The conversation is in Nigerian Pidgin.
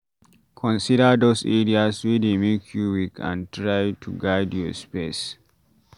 Consider those areas wey dey make you weak and try to guide your space